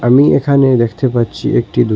আমি এখানে দেখতে পাচ্ছি একটি দুকা--